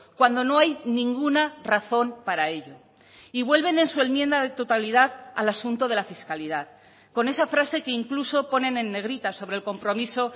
cuando no hay ninguna razón para ello y vuelven en su enmienda de totalidad al asunto de la fiscalidad con esa frase que incluso ponen en negrita sobre el compromiso